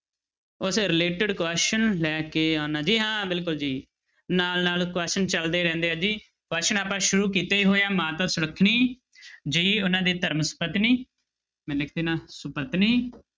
ਉਸ related question ਲੈ ਕੇ ਆਉਣਾ ਜੀ ਹਾਂ ਬਿਲਕੁਲ ਜੀ ਨਾਲ ਨਾਲ question ਚੱਲਦੇ ਰਹਿੰਦੇ ਆ ਜੀ question ਆਪਾਂ ਸ਼ੁਰੂ ਕੀਤੇ ਹੀ ਹੋਏ ਆ ਮਾਤਾ ਸੁਲੱਖਣੀ ਜੀ ਉਹਨਾਂ ਦੇ ਧਰਮ ਸੁਪਤਨੀ ਮੈਂ ਲਿਖ ਦਿਨਾ ਸੁਪਤਨੀ